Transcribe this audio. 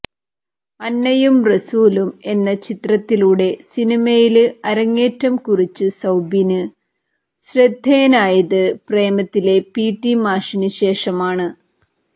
അന്നയും റസൂലും എന്ന ചിത്രത്തിലൂടെ സിനിമയില് അരങ്ങേറ്റം കുറിച്ച് സൌബിന് ശ്രദ്ധേയനായത് പ്രേമത്തിലെ പി ടി മാഷിന് ശേഷമാണ്